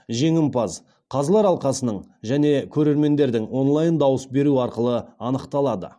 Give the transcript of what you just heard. жеңімпаз қазылар алқасының және көрермендердің онлайн дауыс беруі арқылы анықталады